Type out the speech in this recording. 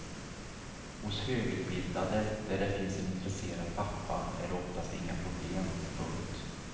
Hos högutbildade där det finns en intresserad pappa är det oftast inga problem. punkt